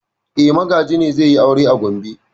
E, Magaji ne zai yi aure a Gombe.